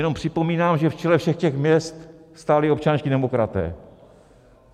Jenom připomínám, že v čele všech těch měst stáli občanští demokraté.